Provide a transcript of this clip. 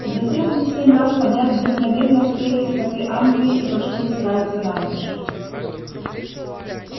затем они семь раз подряд вдохновенно спели скоты англии и пошли устраиваться на ночь